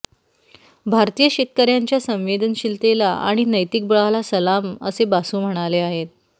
भारतीय शेतकऱ्यांच्या संवेदनशीलतेला आणि नैतिक बळाला सलाम असे बासू म्हणाले आहेत